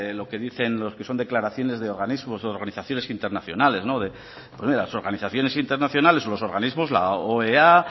lo que dicen los que son declaraciones de organismos o de organizaciones internacionales oiga las organizaciones internacionales o los organismos la oea